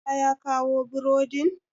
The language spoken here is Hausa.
musa ya kawo boredin?